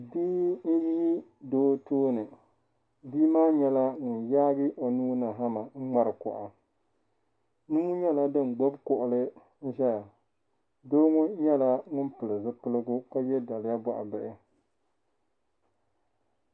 Bii n zi doo tooni bii maa nyɛla ŋun yaagi onuu ni hamma n ŋmari kuɣa nuu nyala din gbubi kuɣuli nzaya dooŋɔ nyala ŋun pili zupiligu kaye daliya bɔɣi bihi.